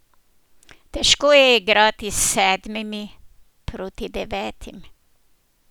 Težko je igrati s sedmimi proti devetim.